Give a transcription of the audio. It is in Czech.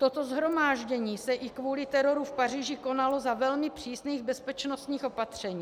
Toto shromáždění se i kvůli teroru v Paříži konalo za velmi přísných bezpečnostních opatření.